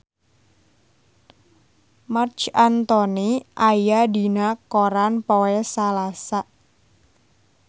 Marc Anthony aya dina koran poe Salasa